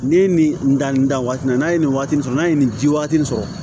Ni ye nin dan nin dan waati in na n'a ye nin waati in sɔrɔ n'a ye nin ji waati in sɔrɔ